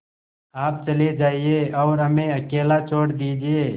आप चले जाइए और हमें अकेला छोड़ दीजिए